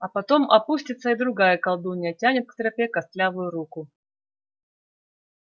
а потом опустится и другая колдунья тянет к тропе костлявую руку